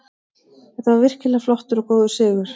Þetta var virkilega flottur og góður sigur.